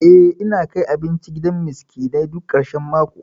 Eh, ina kai abinci gidan miskinai duk ƙarshan mako.